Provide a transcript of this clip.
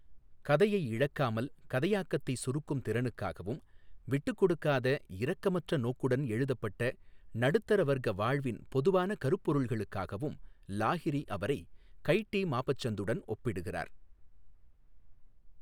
கதையை இழக்காமல் கதையாக்கத்தை சுருக்கும் திறனுக்காகவும், விட்டுக்கொடுக்காத இரக்கமற்ற நோக்குடன் எழுதப்பட்ட நடுத்தர வர்க்க வாழ்வின் பொதுவான கருப்பொருள்களுக்காகவும் லாஹிரி அவரை கய் டீ மாபசந்துடன் ஒப்பிடுகிறார்.